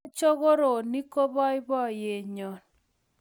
Mokochoronik ko boiboyet nyo